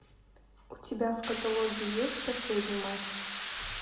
у тебя в каталоге есть последний матч